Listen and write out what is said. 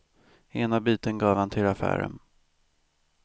Ena biten gav han till affären.